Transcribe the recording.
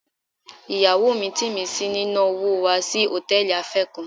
Ìyàwó mi ń tì mí sí ní ná wò wa si Hòtẹ́lìì afé kan.